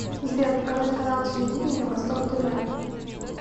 сбер показать канал телевидения восток тв